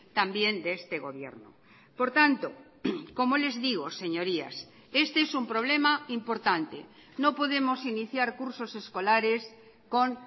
también de este gobierno por tanto como les digo señorías este es un problema importante no podemos iniciar cursos escolares con